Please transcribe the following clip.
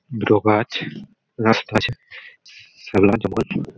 দুটো গাছ রাস্তা আছে। ।